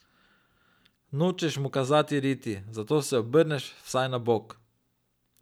Nočeš mu kazati riti, zato se obrneš vsaj na bok.